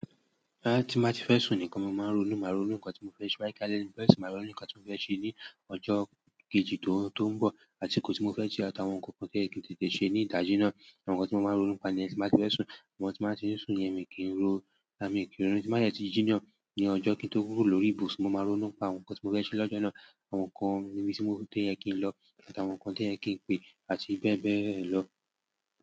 Boya ti n bá ti fẹ́ sùn nìkan mo màá ń ronú, máa ronú nǹkan tí mo fẹ́ ṣe. Toba je pe alẹ́ ni mo fẹ́ sùn, máa ronú nǹkan tí mo fẹ́ ṣe ní ọjọ́ kejì tó–to ń bọ̀, àsìkò tí mo fẹ́ ṣe àti àwọn ǹkankan tí o yẹ ki n tètè ṣe ní ìdájí náà. Àwọn nǹkan tí mo máa ń ronú n pa niyen tí mba ti fẹ́ sùn, àmo tí mo ba ti n sùn yen mi kì í n ro, a, mi i kí n ri. À ti jí náà ní ọjọ́ kí n tó kúrò lórí ìbùsùn, mo máa ro nínú pa àwọn nǹkan tí mo fẹ́ ṣe lọ́jọ́ náà, àwọn nǹkan níbi tí mo dé ẹ kin lọ, àti àwọn nǹkan tí ẹ kín pè, àti bẹ́ẹ̀ bẹ́ẹ̀ lọ.